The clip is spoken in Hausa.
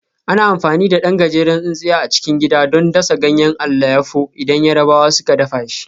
Ana amfani da ɗan gajeren tsintsiya a cikin gida don dasa ganyen alayyafo idan Yarabawa suka dafa shi